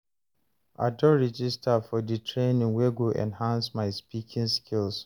I don register for di training wey go enhance my speaking skills.